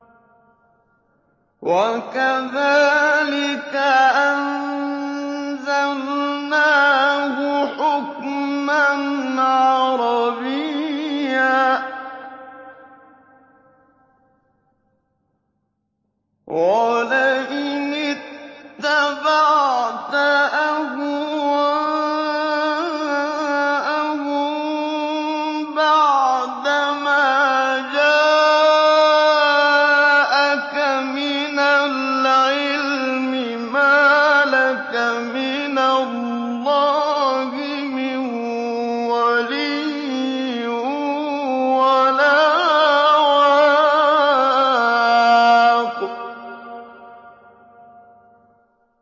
وَكَذَٰلِكَ أَنزَلْنَاهُ حُكْمًا عَرَبِيًّا ۚ وَلَئِنِ اتَّبَعْتَ أَهْوَاءَهُم بَعْدَمَا جَاءَكَ مِنَ الْعِلْمِ مَا لَكَ مِنَ اللَّهِ مِن وَلِيٍّ وَلَا وَاقٍ